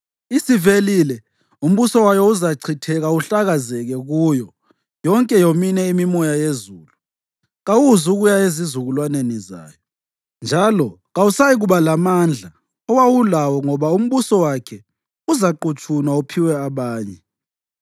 Isivelile, umbuso wayo uzachitheka uhlakazekele kuyo yonke yomine imimoya yezulu. Kawuzukuya ezizukulwaneni zayo, njalo kawusayikuba lamandla owawulawo ngoba umbuso wakhe uzaqutshunwa uphiwe abanye.